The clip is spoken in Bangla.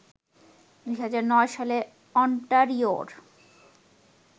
২০০৯ সালে অন্টারিওর